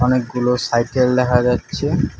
অনেকগুলো সাইকেল দেখা যাচ্ছে।